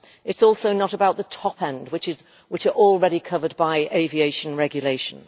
It is also not about the top-end ones, which are already covered by aviation regulation.